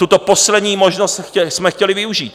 Tuto poslední možnost jsme chtěli využít.